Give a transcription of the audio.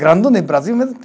no Brasil mesmo.